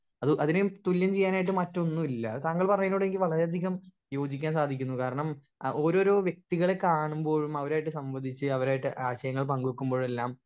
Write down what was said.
speaker 1 അപ്പൊ അതിനെയും തുല്യം ചെയ്യാനായിട്ട് മറ്റൊന്നൂല്ല താങ്കൾ പറയുന്നതിനോടെനിക്ക് വളരെ അധികം യോജിക്കാൻ സാധിക്കുന്നത് കാരണം ആ ഓരോരോ വെക്തികളെ കാണുമ്പോഴും അവരായിട്ട് സംബന്ധിച്ച് അവരായിട്ട് ആശയങ്ങൾ പങ്ക് വെക്കുമ്പോഴെല്ലാം